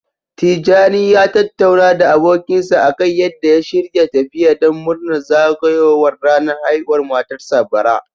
Tijani ya tattauna da abokinsa akan yadda ya shirya tafiya don murnar zagayowar ranar haihuwar matarsa, bara.